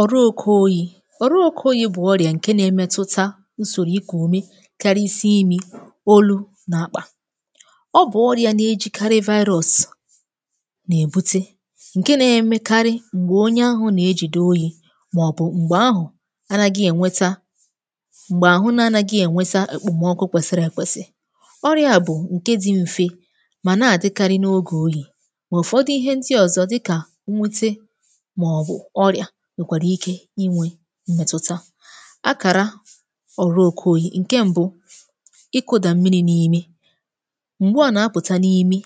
Ọrụ oke oyi̇. ọ̀rụ oke oyi̇ bụ̀ ọrịà ǹke na-emetụta usòrò ikùume karịsii imi. olu na-akpà. Ọ bụ̀ ọrịà na-ejikarị virus na-èbute, ǹke na-emekarị m̀gbè onye ahụ̀ na-ejide oyi̇ màọbụ̀ m̀gbè àhụ̀ ànaghị ènweta m̀gbè áhụ na-anaghi ènweta okpomọọkụ kwèsìrì èkwèsì. Ọrịà a bụ̀ ǹke dị mfe mà na-àdịkarị n’ogè oyi̇ mà ụfọdụ ihe ndị ọ̀zọ dịkà nwute maọbụ ọrịa nwekwara ike inwe mmètụ̀ta. Akàra ọ̀rụ oke oyì; ǹke mbụ, ịkụdà mmiri n’imi mgbe a nà-apụ̀ta n’imi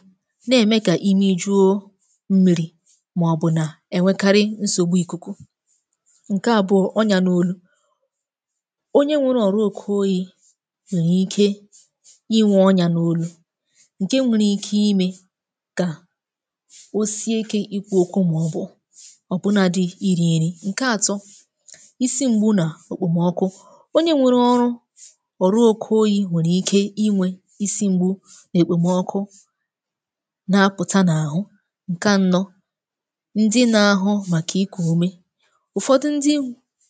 na-ème kà imi jụọ mmiri màọbụ̀ nà ènwekarị nsògbu ikuku, ǹke àbụọ, ọnyá n’olu, onye nwere ọ̀rụ oke oyì nwere ike inwe ọnyá n’olu ǹke nwere ike ime kà o sie ike ikwụ okwụ maọbụ ọbụnadị iri nri. Nke ato, isi m̀gbu nà òkpòmọkụ, onye nwere ọrụ ọ̀rụ oke oyi̇ nwèrè ike inwe isi m̀gbu nà-èkpèmọkụ na-apụ̀ta n’àhụ. Nke anọ ndị na-ahụ màkà ikù ume, ụ̀fọdụ ndị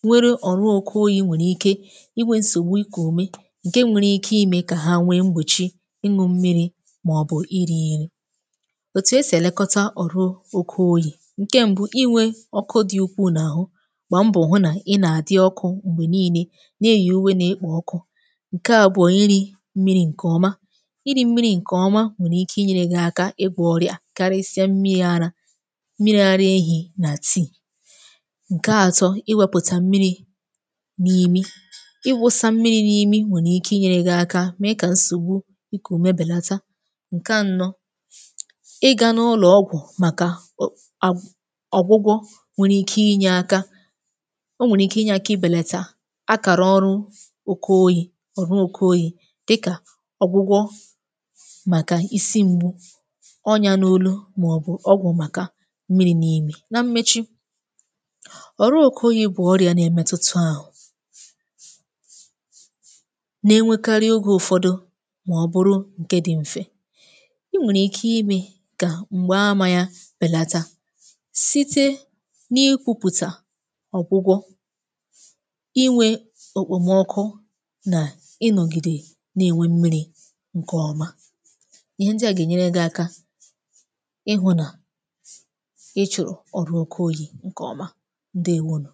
nwere ọ̀rụ oke oyi̇ nwèrè ike inwe nsògbu ikù ume ǹke nwèrè ike ime kà ha nwee mgbèchi ịñụ mmiri̇ màọbụ̀ iri nri. Òtù esì èlekọta ọ̀rụ oke oyi̇ ǹke m̀bụ ị nwe ọkụ dị ukwùu n'ahụ gbàà mbọ̀ hụ nà ị nà-àdị ọkụ m̀gbè niine nà-èyi uwe n’ekpò ọkụ. Nke abụ̀ọ iri̇ mmiri̇ ǹkè ọma, iri̇ mmiri̇ ǹkè ọma nwèrè ike inyere gị aka igwọ ọrịà karịsịa mmiri̇ ara, mmiri̇ ara ehi̇ nà tii. Nke atọ, i wepụ̀tà mmiri̇ n’imi ị wụsa mmiri̇ n’imi nwèrè ike inyere gị aka mee kà nsògbu iku ume bèlata. Nke anọ ị ga n’ụlọ̀ ọgwụ̀ màkà o um agwụgwọ nwèrè ike inye àka o nwere ike inye aka ịbèlata akàrà ọrụ oke oyi̇ ọ̀rụ oke oyi̇ dịkà ọ̀gwụgwọ màkà isi m̀gbu ọnyá n’olu màọbụ̀ ọgwụ̀ màkà mmiri̇ n’imi. Na mmechi ọ̀rụ oke oyi bụ̀ ọrịȧ na-emetutu ahụ̀ na-enwekarị oge ụ̀fọdụ màọbụrụ ǹke dị m̀fe i nwèrè ike ime kà m̀gbè ama ya bèlata síté na-ịkwụpụta ọgwụgwọ, inwe okpòmọkụ nà ịnọ̀gìdè nà-ènwe mmiri̇ ǹkè ọma, ihe ndị à gà-ènyere gị aka ịhụ nà ị chụ̀rụ̀ ọ̀rụ oke oyi̇ ǹkè ọma, ǹdeewònù.